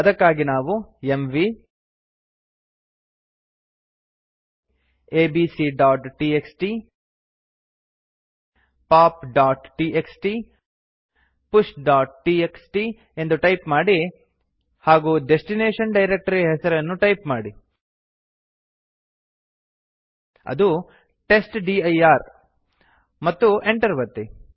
ಅದಕ್ಕಾಗಿ ನಾವು ಎಂವಿ abcಟಿಎಕ್ಸ್ಟಿ popಟಿಎಕ್ಸ್ಟಿ pushಟಿಎಕ್ಸ್ಟಿ ಎಂದು ಟೈಪ್ ಮಾಡಿ ಹಾಗೂ ಡೆಸ್ಟಿನೇಶನ್ ಡೈರಕ್ಟರಿಯ ಹೆಸರನ್ನು ಟೈಪ್ ಮಾಡಿ ಅದು ಟೆಸ್ಟ್ಡಿರ್ ಮತ್ತು enter ಒತ್ತಿ